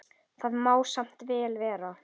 Það má samt vel vera.